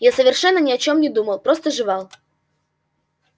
я совершенно ни о чём не думал просто жевал